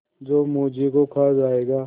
जो मुझी को खा जायगा